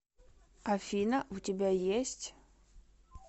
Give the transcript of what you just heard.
афина у тебя есть